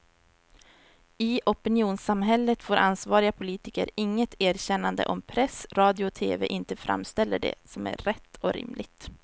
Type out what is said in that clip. I opinionssamhället får ansvariga politiker inget erkännande om press, radio och tv inte framställer det som rätt och rimligt.